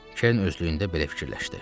Kerin özlüyündə belə fikirləşdi.